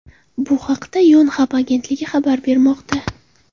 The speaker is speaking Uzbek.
Bu haqda Yonhap agentligi xabar bermoqda.